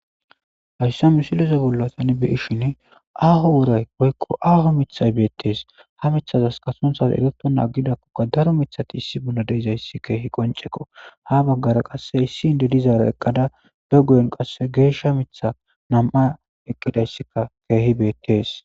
Hayssa misileza bolla tani be7ishin aaho woray woykko aaho mithay beettees. Ha mithazas qasse sunthazi erettonna aggidakkoka daro mithati issi bolla de7izayssi keehi qonccekko. Ha baggara qasse issi inddo dizaara eqqada ba guyen qasse geeshsha mithay nam7ay eqqidayssikka keehi beettees.